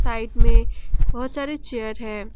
Light में बहुत सारे चेयर हैं।